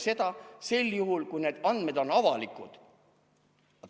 Seda sel juhul, kui need andmed on avalikud.